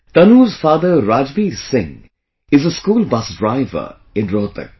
Tanu's father Rajbir Singh is a school bus driver in Rohtak